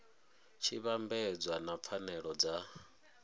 tshi vhambedzwa na pfanelo dza